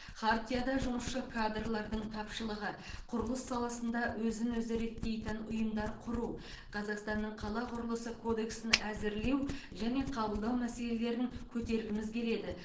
хартияда жұмысшы кадрлардың тапшылығы құрылыс саласында өзін өзі реттейтін ұйымдар құру қазақстанның қала құрылысы кодексін әзірлеу және қабылдау мәселелерін көтергіміз келеді